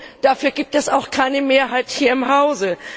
Nun, dafür gibt es auch keine Mehrheit hier im Hause.